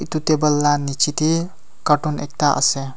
itu table la niche te carton ekta ase.